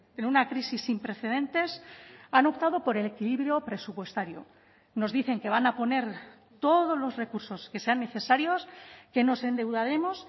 en una crisis sin precedentes han optado por el equilibrio presupuestario nos dicen que van a poner todos los recursos que sean necesarios que nos endeudaremos